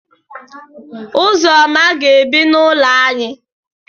Ụzọma ga-ebi n'ụlọ ànyị.